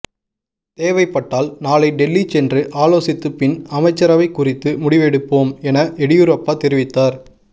தேவைப்பட்டால் நாளை டெல்லி சென்று ஆலோசித்த பின் அமைச்சரவை குறித்து முடிவெடுப்போம் என எடியூரப்பா தெரிவித்தார்